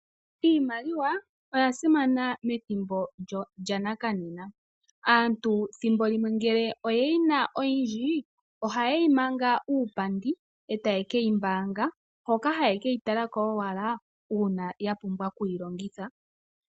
Iimaliwa oya simana methimbo lya nakanena. Aantu thimbo limwe ngele oye yi na oyindji ohaye yi manga uupandi e taye ke yi mbaanga hoka haye ke yi tala ko owala uuna ya pumbwa oku yi longitha.